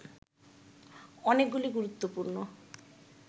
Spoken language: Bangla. অনেকগুলি গুরুত্বপূর্ণ